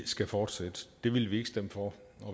skal fortsætte det vil vi ikke stemme for